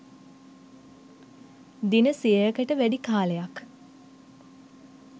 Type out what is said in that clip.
දින සියයකට වැඩි කාලයක්